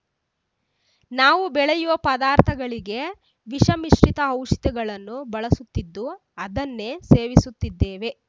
ನಾವು ಬೆಳೆಯುವ ಪದಾರ್ಥಗಳಿಗೆ ವಿಷಮಿಶ್ರಿತ ಔಷಧಗಳನ್ನು ಬಳಸುತ್ತಿದ್ದು ಅದನ್ನೇ ಸೇವಿಸುತ್ತಿದ್ದೇವೆ